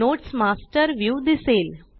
notes master view दिसेल